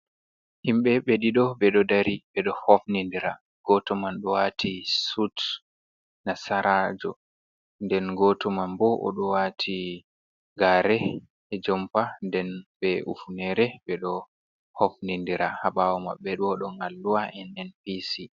Himbé ɓe ɗiɗo beɗo ɗari beɗo hofnindira, goto man ɗo wati sut nasarajo nden goto man ɓo oɗo wati gareh e jompa nden ɓe ufunere beɗo hofnindira habawo maɓɓe ɗoh ɗon alluwa NNPC.